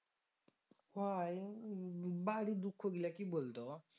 হয় বাড়ির দুঃখ গুলা কি বলতো